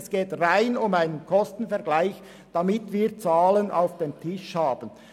es geht um einen reinen Kostenvergleich, um Zahlen auf dem Tisch zu haben.